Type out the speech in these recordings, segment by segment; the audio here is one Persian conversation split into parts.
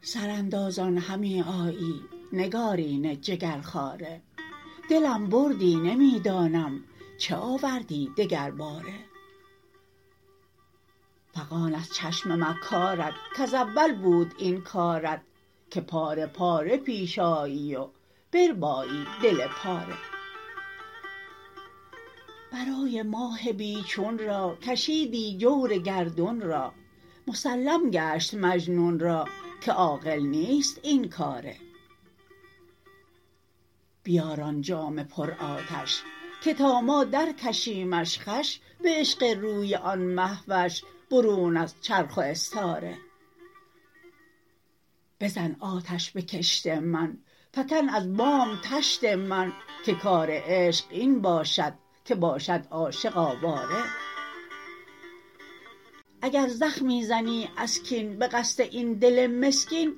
سراندازان همی آیی نگارین جگرخواره دلم بردی نمی دانم چه آوردی دگرباره فغان از چشم مکارت کز اول بود این کارت که پاره پاره پیش آیی و بربایی دل پاره برای ماه بی چون را کشیدی جور گردون را مسلم گشت مجنون را که عاقل نیست این کاره بیار آن جام پرآتش که تا ما درکشیمش خوش به عشق روی آن مه وش برون از چرخ و استاره بزن آتش به کشت من فکن از بام طشت من که کار عشق این باشد که باشد عاشق آواره اگر زخمی زنی از کین به قصد این دل مسکین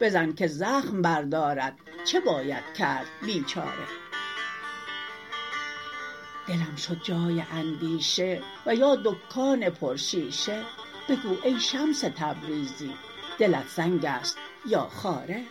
بزن که زخم بردارد چه باید کرد بیچاره دلم شد جای اندیشه و یا دکان پرشیشه بگو ای شمس تبریزی دلت سنگ است یا خاره